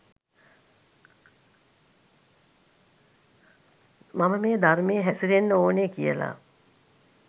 මම මේ ධර්මයේ හැසිරෙන්න ඕනෙ කියල